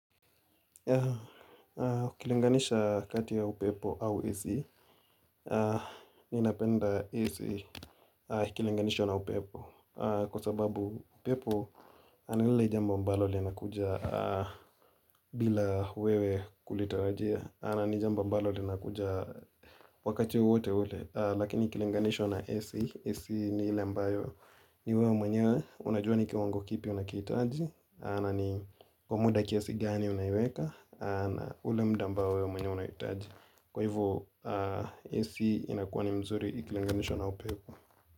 Kulinganisha kati ya upepo au AC ninapenda AC, kulinganisha na upepo kwa sababu upepo ni lile jamba mbalo linakuja bila wewe kulitarajia na ni jambo ambalo lina kuja wakati wowote ule lakini kulinganishwa na AC, AC ni hile ambayo ni wewe mwenyewe unajuwa ni kiwango kipi unakihitaji na ni muda kiasi gani unaiweka na ule muda ambao we mwenye unahitaji kwa hivo. AC inakuwa nzuri ikilinganishwa na upepo.